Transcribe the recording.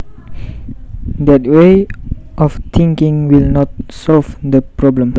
That way of thinking will not solve the problem